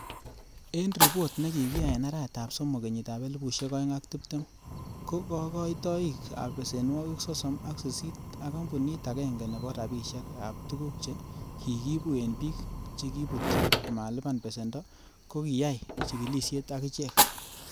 En ripot nekikiyai en arawetab somok, kenyitab elfusiek oeng ak tibtem, ko kokoitoik ab besenwogik sosom ak sisit ak kampunit agenge nebo rabishek ab tuguk che kikiibu en bik che kibutyo komalipan besendo ko kiyai chigilisiet akichek.